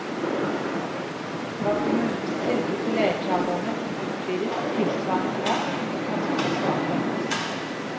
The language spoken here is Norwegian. Var kommunens tilbud til leietagerne blitt utvidet i tilsvarende grad, kunne den kanskje forsvart det.